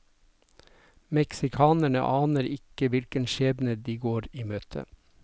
Meksikanerne aner ikke hvilken skjebne de går i møte.